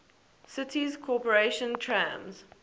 city's corporation trams